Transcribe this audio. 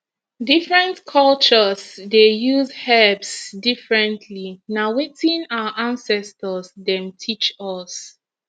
different cultures dey use herbs differently na wetin our ancestors dem teach us